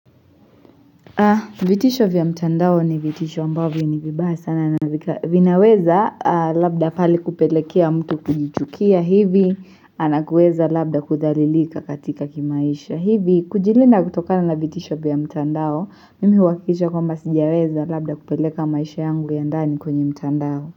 Vitisho vya mtandao ni vitisho ambavyo ni vibaya sana na vinaweza labda palikupelekea mtu kujichukia hivi Anakueza labda kudhalilika katika kimaisha hivi kujilinda kutokana na vitisho vya mtandao Mimi huakikisha kwamba sijaweza labda kupeleka maisha yangu ya ndani kwenye mtandao.